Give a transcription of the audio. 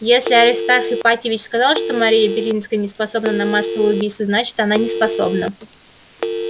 если аристарх ипатьевич сказал что мария белинская не способна на массовое убийство значит она неспособна